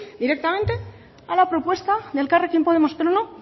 directamente a la propuesta de elkarrekin podemos pero no